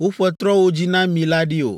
woƒe trɔ̃wo dzi na mi la ɖi o.